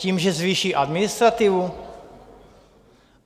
Tím, že zvýší administrativu?